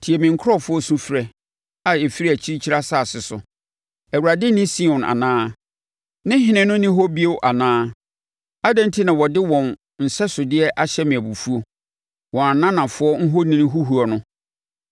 Tie me nkurɔfoɔ sufrɛ a ɛfiri akyirikyiri asase so: “ Awurade nni Sion anaa? Ne Ɔhene no nni hɔ bio anaa?” “Adɛn enti na wɔde wɔn nsɛsodeɛ ahyɛ me abufuo, wɔn ananafoɔ ahoni huhuo no?”